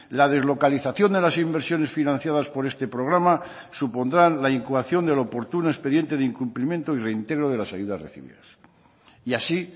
la deslocalización de las inversiones financiadas por este programa supondrán la incoación del oportuno expediente de incumplimiento y reintegro de las ayudas recibidas y así